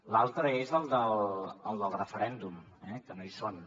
l’altre és el del referèndum eh que no hi són